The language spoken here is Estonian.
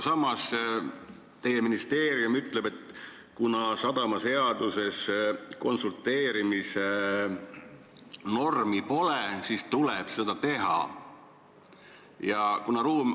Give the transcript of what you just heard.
Samas teie ministeerium ütleb, et kuna sadamaseaduses konsulteerimise normi pole, siis tuleb see sinna lisada.